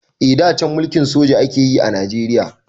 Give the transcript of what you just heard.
Eh da can mulkin soja akayi a Najeriya.